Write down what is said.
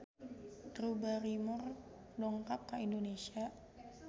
Drew Barrymore dongkap ka Indonesia